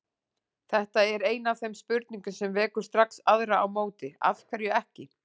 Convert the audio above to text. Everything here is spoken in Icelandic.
Þetta er ein af þeim spurningum sem vekur strax aðrar á móti: Af hverju ekki?